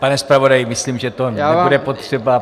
Pane zpravodaji, myslím, že to nebude potřeba.